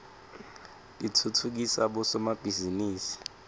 titfutfukisa bosomabhizinisi